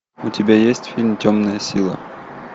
у тебя есть фильм темная сила